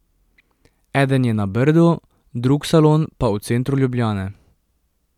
Eden je na Brdu, drug salon pa v centru Ljubljane.